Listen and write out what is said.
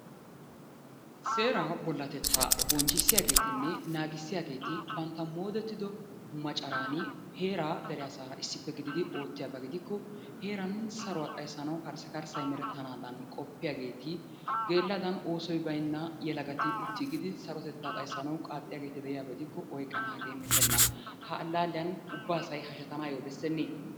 Seeraa bollatettaa bonchchissiyageetinne naagissiyageeti bantta moodettido macaraan heeraa dere asaara issippe gididi oottiyaba gidikko heeran saruwa xayssanawu karssikarssay merettanaadan qoppiyageeti geelladan oosoy baynna yelagati uttigidi sarotettaa xayssanawu qaaxxiyageeti de'iyaba gidikko oyqqanaagee metenna. Ha allaalliyan ubba asay hashetanaayyo bessennee?